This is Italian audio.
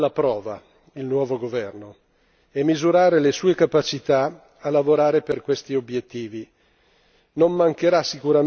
Dobbiamo, in sostanza, mettere alla prova il nuovo governo e misurare le sue capacità a lavorare per questi obiettivi.